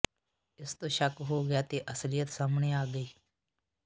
ਇਸ ਤੋਂ ਸ਼ੱਕ ਹੋ ਗਿਆ ਤੇ ਅਸਲੀਅਤ ਸਾਹਮਣੇ ਆ ਗਈ